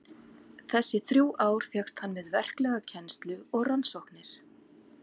Þessi þrjú ár fékkst hann við verklega kennslu og rannsóknir.